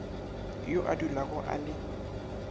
yo a dulago a le